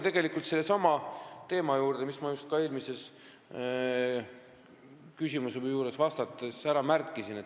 Ma tulen sellesama teema juurde, mida ma just eelmisele küsimusele vastates ära märkisin.